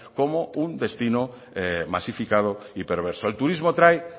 como un destino masificado y perverso el turismo trae